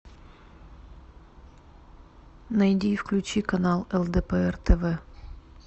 найди и включи канал лдпр тв